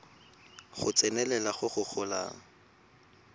go tsenelela go go golang